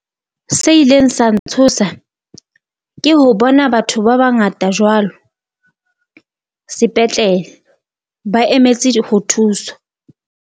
Se ileng sa ntshosa ke ho bona batho ba bangata jwalo sepetlele ba emetse di ho thuswa.